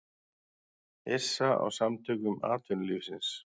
Hissa á Samtökum atvinnulífsins